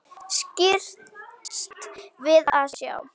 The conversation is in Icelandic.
Skirrst við að sjá.